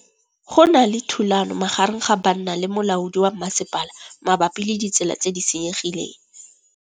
Go na le thulanô magareng ga banna le molaodi wa masepala mabapi le ditsela tse di senyegileng.